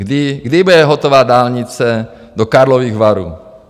Kdy bude hotová dálnice do Karlových Varů?